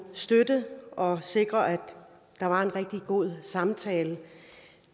støtte og sikre at der var en rigtig god samtale